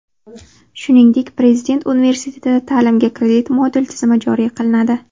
Shuningdek, Prezident universitetida ta’limga kredit-moduli tizimi joriy qilinadi.